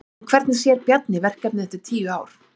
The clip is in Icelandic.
En hvernig sér Bjarni verkefnið eftir tíu ár?